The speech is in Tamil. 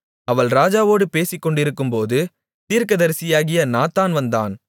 அவள் ராஜாவோடு பேசிக்கொண்டிருக்கும்போது தீர்க்கதரிசியாகிய நாத்தான் வந்தான்